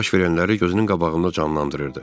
Baş verənləri gözünün qabağında canlandırırdı.